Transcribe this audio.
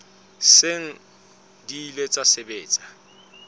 seng di ile tsa sebetsa